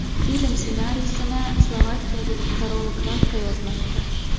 Film ssenariysini slovakiyalik Karol Glavka yozmoqda.